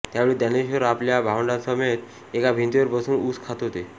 त्यावेळी ज्ञानेश्वर आपल्या भावंडांसमवेत एका भिंतीवर बसून ऊस खात होते